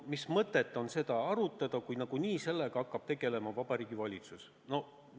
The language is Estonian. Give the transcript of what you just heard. Mis mõtet on seda arutada, kui nagunii hakkab sellega tegelema Vabariigi Valitsus?